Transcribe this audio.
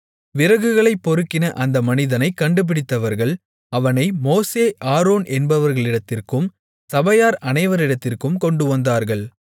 விறகுகளைப் பொறுக்கின அந்த மனிதனைக் கண்டுபிடித்தவர்கள் அவனை மோசே ஆரோன் என்பவர்களிடத்திற்கும் சபையார் அனைவரிடத்திற்கும் கொண்டுவந்தார்கள்